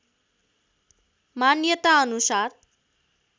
मान्यताअनुसार